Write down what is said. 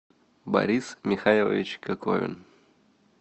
борис михайлович коковин